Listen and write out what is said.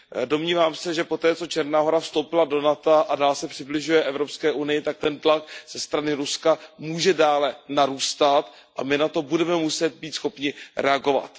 Domnívám se, že poté, co Černá Hora vstoupila do NATO a dál se přibližuje EU, tak ten tlak ze strany Ruska může dále narůstat a my na to budeme muset být schopni reagovat.